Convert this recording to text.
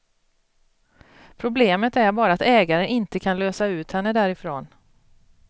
Problemet är bara att ägaren inte kan lösa ut henne därifrån.